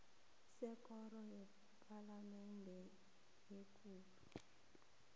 sekoro yepalamende ekulu